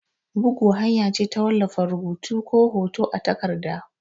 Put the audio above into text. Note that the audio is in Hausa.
Bugu hanya ce ta wallafa rubutu ko hoto a takarda.